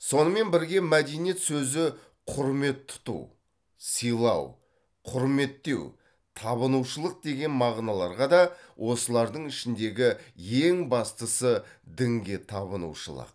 сонымен бірге мәдениет сөзі құрмет тұту сыйлау құрметтеу табынушылық деген мағыналарға да осылардың ішіндегі ең бастысы дінге табынушылық